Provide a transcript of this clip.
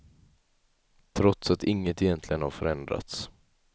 Trots att inget egentligen har förändrats.